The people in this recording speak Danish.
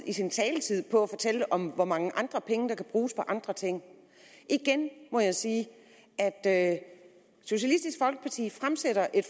sin taletid på at fortælle om hvor mange penge der kan bruges på andre ting igen må jeg sige at socialistisk folkeparti fremsætter et